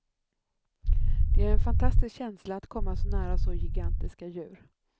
Det är en fantastisk känsla att komma så nära så gigantiska djur.